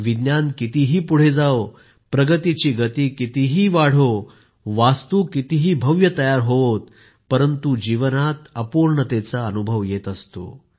विज्ञान कितीही पुढे जाओ प्रगतीची गती कितीही वाढो भवन कितीही भव्य तयार होओत परंतु जीवनात अपूर्णतेचा अनुभव येत असतो